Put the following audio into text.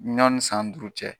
Ɲɔni san duuru cɛ.